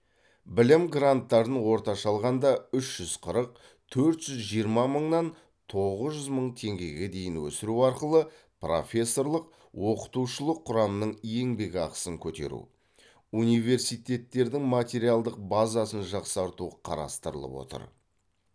білім гранттарын орташа алғанда үш жүз қырық төрт жүз жиырма мыңнан тоғыз жүз мың теңгеге дейін өсіру арқылы профессорлық оқытушылық құрамның еңбекақысын көтеру университеттердің материалдық базасын жақсарту қарастырылып отыр